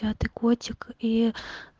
а ты котик и